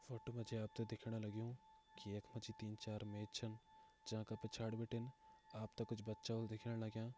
फोटो मजी आपते दिखेण लग्युं की यक मजी तीन चार मेज छन जाका पिछाड़ी बटिन आपते कुछ बच्चा उल दिखेण लग्यां।